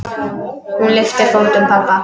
Hún lyftir fótum pabba.